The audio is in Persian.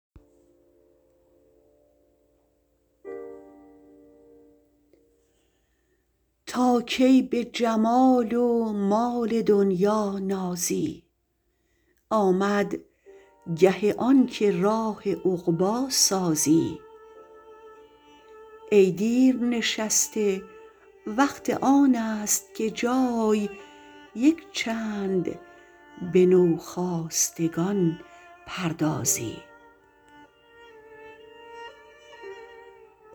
تا کی به جمال و مال دنیا نازی آمد گه آنکه راه عقبی سازی ای دیر نشسته وقت آنست که جای یک چند به نوخاستگان پردازی